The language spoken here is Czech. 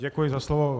Děkuji za slovo.